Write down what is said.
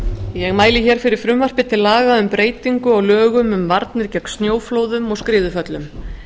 ég mæli hér fyrir frumvarpi til laga um breytingu á lögum um varnir gegn snjóflóðum og skriðuföllum